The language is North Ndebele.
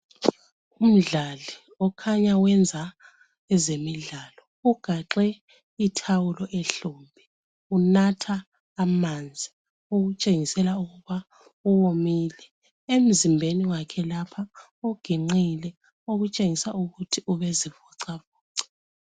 Umdlali okhanya wenza ezemidlalo. Ugaxe ithawulo ehlombe. Unatha amanzi okutshengisela ukuba uwomile. Emzimbeni wakhe lapha uginqile okutshengisa ukuthi ubezivocavoca.